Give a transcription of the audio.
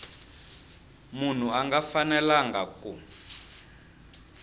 munhu a nga fanelanga ku